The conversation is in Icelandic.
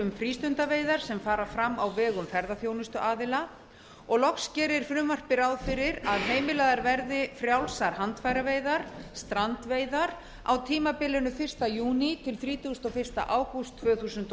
um frístundaveiðar sem fara fram á vegum ferðaþjónustuaðila og loks gerir frumvarpið ráð fyrir að heimilaðar verði frjálsar handfæraveiðar strandveiðar á tímabilinu fyrsta júní til þrítugasta og fyrsta ágúst tvö þúsund og